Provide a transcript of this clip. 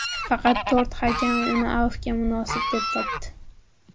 Faqat to‘rt hakam uni afvga munosib deb topdi.